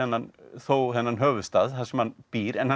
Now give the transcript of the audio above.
þó þennan höfuðstað þar sem hann býr en hann